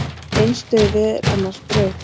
Eins dauði er annars brauð.